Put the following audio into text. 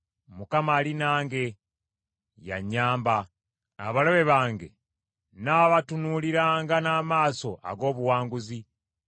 Mukama ali nange, ye anyamba. Abalabe bange nnaabatunuuliranga n’amaaso ag’obuwanguzi.